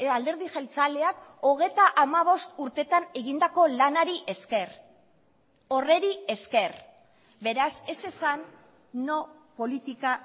alderdi jeltzaleak hogeita hamabost urteetan egindako lanari esker horri esker beraz ez esan no politika